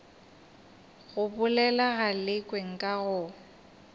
go bolela galekwe nka go